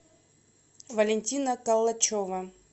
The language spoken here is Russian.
валентина калачева